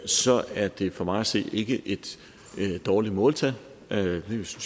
så er det for mig at se ikke et dårligt måltal det synes